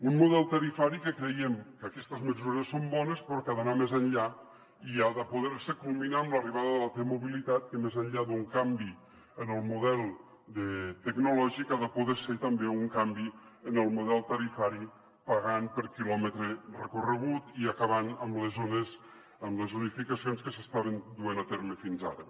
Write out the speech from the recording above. un model tarifari en què creiem que aquestes mesures són bones però que ha d’anar més enllà i ha de poder se culminar amb l’arribada de la t mobilitat que més enllà d’un canvi en el model tecnològic ha de poder ser també un canvi en el model tarifari pagant per quilòmetre recorregut i acabant amb les zonificacions que s’estaven duent a terme fins ara